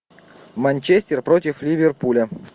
манчестер против ливерпуля